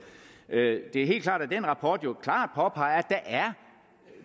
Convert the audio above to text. det er helt klart at den rapport jo klart påpeger at